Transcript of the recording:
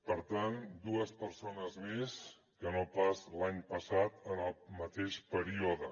per tant dues persones més que no pas l’any passat en el mateix període